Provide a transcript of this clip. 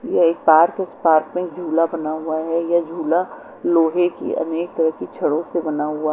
यह एक पार्क है इस पार्क में झूला बना हुआ है यह झूला लोहे की अनेक तरह कि छड़ों से बना हुआ--